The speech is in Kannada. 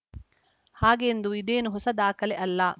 ಹಾಗೆಂದು ಇದೇನು ಹೊಸ ದಾಖಲೆ ಅಲ್ಲ